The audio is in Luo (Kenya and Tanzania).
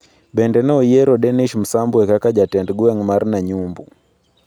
Bende ne oyiero Denish Msambwe kaka jatend gweng' mar Nanyumbu.